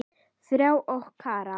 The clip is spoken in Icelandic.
Þráinn og Kara.